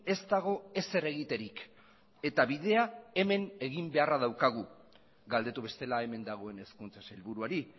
ez dago ezer egiterik eta bidea hemen egin beharra daukagu galdetu bestela hemen dagoen hezkuntza sailburuari